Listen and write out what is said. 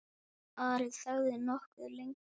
Ari þagði nokkuð lengi.